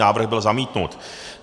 Návrh byl zamítnut.